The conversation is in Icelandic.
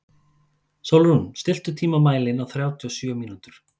Sólrún, stilltu tímamælinn á þrjátíu og sjö mínútur.